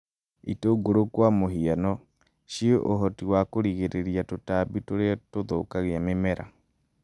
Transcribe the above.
Itungũrũ kwa mũhiano, ciĩna ũhoti wa kũgirĩrĩria tũtambi tũria tũthũkagia mĩmera